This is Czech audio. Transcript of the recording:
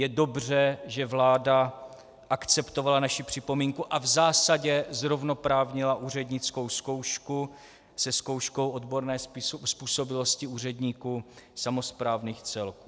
Je dobře, že vláda akceptovala naši připomínku a v zásadě zrovnoprávnila úřednickou zkoušku se zkouškou odborné způsobilosti úředníků samosprávných celků.